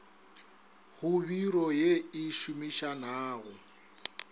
go biro ye e šomišanago